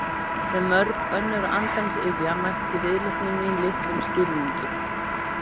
Sem mörg önnur andans iðja mætti viðleitni mín litlum skilningi.